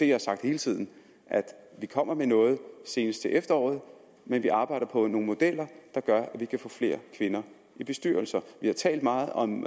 jo sagt hele tiden at vi kommer med noget senest til efteråret men vi arbejder på nogle modeller der gør at vi kan få flere kvinder i bestyrelser vi har talt meget om